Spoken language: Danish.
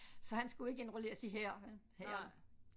Så han skulle ikke indrulleres i hæren hæren